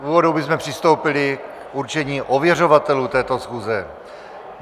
V úvodu bychom přistoupili k určení ověřovatelů této schůze.